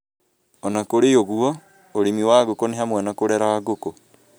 O na kũrĩ ũguo, ũrĩmi wa ngũkũ nĩ hamwe na kũrera ngũkũ